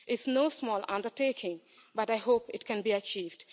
It is no small undertaking, but I hope it can be achieved.